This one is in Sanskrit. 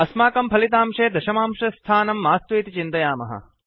अस्मकं फलितांशे दशमांशस्थानं मास्तु इति चिन्तयामः